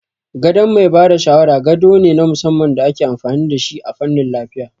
Gadon mai ba da shawara gado ne na musamman da ake amfani da shi a fannin lafiya